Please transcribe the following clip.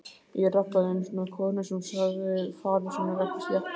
Ég rabbaði einu sinni við konu sem sagði farir sínar ekki sléttar.